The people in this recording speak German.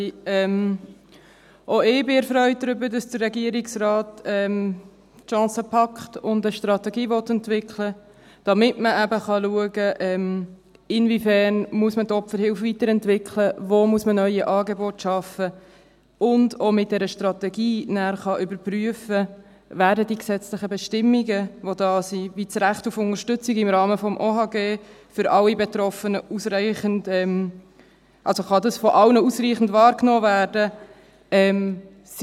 Auch ich bin erfreut darüber, dass der Regierungsrat die Chance packt und eine Strategie entwickeln will, damit man eben schauen kann, inwiefern man die Opferhilfe weiterentwickeln muss, wo man neue Angebote schaffen muss, und dass man mit dieser Strategie dann auch überprüfen kann, ob die vorhandenen gesetzlichen Bestimmungen – wie das Recht auf Unterstützung im Rahmen des Bundesgesetzes über die Hilfe an Opfer von Straftaten (Opferhilfegesetz, OHG) – von allen Betroffenen ausreichend wahrgenommen werden können.